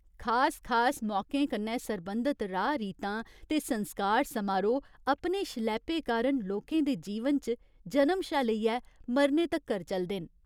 खास खास मौकें कन्नै सरबंधत राह् रीतां ते संस्कार समारोह् अपने शलैपे कारण लोकें दे जीवन च जनम शा लेइयै मरने तक्कर चलदे न।